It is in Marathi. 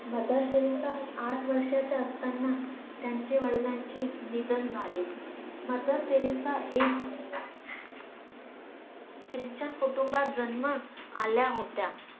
मदर टेरेसा आठ वर्षाच्या असताना त्यांच्या वडिलांची निधन झाले मदर टेरेसा एक CHRISTIAN कुटुंबात जन्म आल्या होत्या